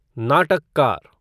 नाटककार